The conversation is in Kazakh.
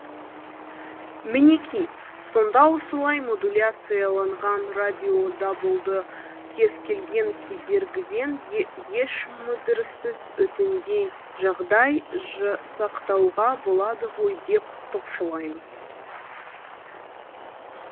мінеки сонда осылай модуляцияланған радиодабылды кез келген кедергіден еш мүдіріссіз өтіндей жағдай жасақтауға болады ғой деп топшылаймыз